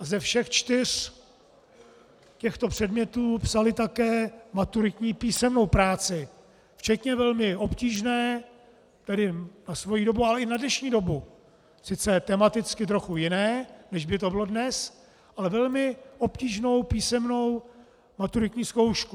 A ze všech čtyř těchto předmětů psali také maturitní písemnou práci, včetně velmi obtížné, tedy na svoji dobu, ale i na dnešní dobu, sice tematicky trochu jiné, než by to bylo dnes, ale velmi obtížnou písemnou maturitní zkoušku.